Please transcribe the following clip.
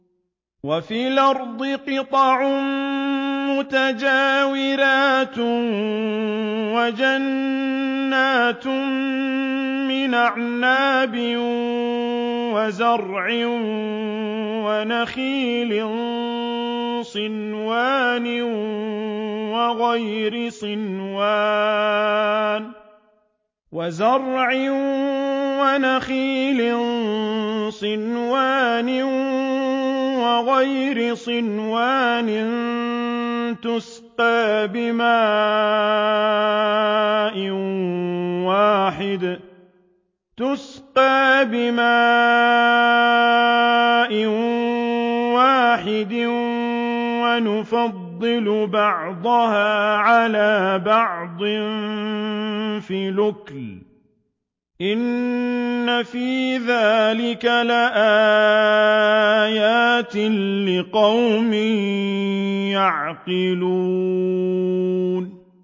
وَفِي الْأَرْضِ قِطَعٌ مُّتَجَاوِرَاتٌ وَجَنَّاتٌ مِّنْ أَعْنَابٍ وَزَرْعٌ وَنَخِيلٌ صِنْوَانٌ وَغَيْرُ صِنْوَانٍ يُسْقَىٰ بِمَاءٍ وَاحِدٍ وَنُفَضِّلُ بَعْضَهَا عَلَىٰ بَعْضٍ فِي الْأُكُلِ ۚ إِنَّ فِي ذَٰلِكَ لَآيَاتٍ لِّقَوْمٍ يَعْقِلُونَ